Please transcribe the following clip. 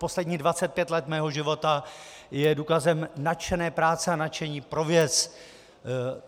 Posledních 25 let mého života je důkazem nadšené práce a nadšení pro věc.